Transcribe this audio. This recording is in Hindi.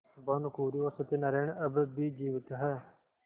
भानुकुँवरि और सत्य नारायण अब भी जीवित हैं